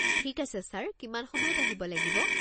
ঠিক আছে ছাৰ, কিমান সময়ত আহিব লাগিব?